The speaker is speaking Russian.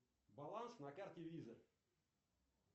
баланс на карте виза